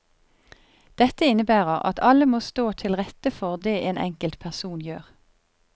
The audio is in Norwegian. Dette innebærer at alle må stå til rette for det en enkelt person gjør.